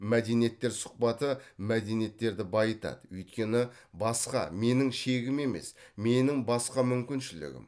мәдениеттер сұхбаты мәдениеттерді байытады өйткені басқа менің шегім емес менің басқа мүмкіншілігім